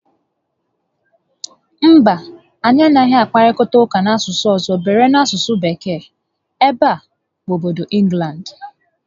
Mba, anyị anaghị akparịta ụka n'asụsụ ọzọ beere so n'asụsụ Bekee, ebe a bụ obodo Ịnglandị